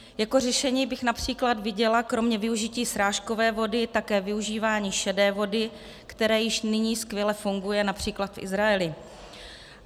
Jako řešení bych například viděla kromě využití srážkové vody také využívání šedé vody, které již nyní skvěle funguje například v Izraeli.